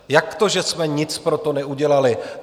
Jak to, že jsme nic pro to neudělali?